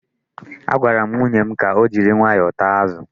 Agwara m nwunye m ka o jiri nwayọọ taa azụ.